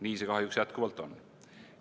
Nii see kahjuks jätkuvalt on.